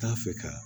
T'a fɛ ka